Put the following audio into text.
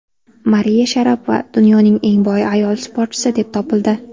Mariya Sharapova dunyoning eng boy ayol sportchisi deb topildi.